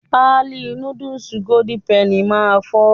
Páálí núdùùsì "Golden Penny" máa fọ́